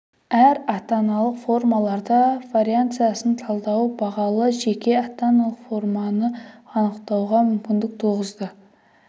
әр ата-аналық формаларда вариансасын талдау бағалы жеке ата-аналық форманы анықтауға мүмкіндік туғызды